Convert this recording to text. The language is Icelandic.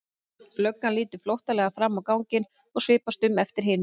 Löggan lítur flóttalega fram á ganginn og svipast um eftir hinum.